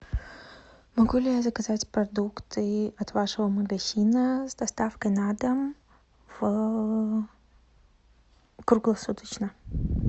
могу ли я заказать продукты от вашего магазина с доставкой на дом круглосуточно